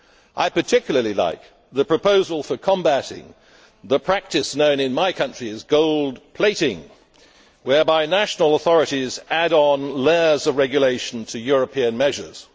I particularly like the proposal for combating the practice known in my country as gold plating', whereby national authorities add layers of regulation to European measures.